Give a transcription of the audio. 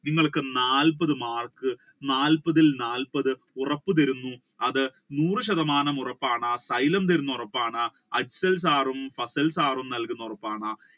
നിങ്ങൾക്ക് നാല്പത് മാർക്ക് നാൽപ്പതിൽ നാല്പത് ഉറപ്പ് തരുന്നു അത് നൂർ ശതമാനം ഉറപ്പാണ് തരുന്ന ഉറപ്പാണ് Afsal sir ഉം fasal sir ഉം തരുന്ന ഉറപ്പാണ്